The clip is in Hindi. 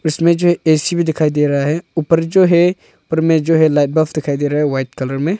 इसमें जो ए_सी भी दिखाई दे रहा है ऊपर जो है ऊपर में जो है लाइव बॉक्स दिखाई दे रहा है वाइट कलर में।